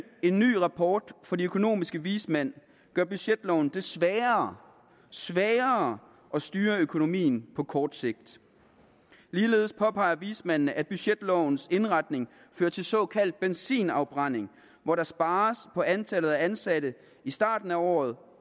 en ny rapport fra de økonomiske vismænd gør budgetloven det sværere sværere at styre økonomien på kort sigt ligeledes påpeger vismændene at budgetlovens indretning fører til såkaldt benzinafbrænding hvor der spares på antallet af ansatte i starten af året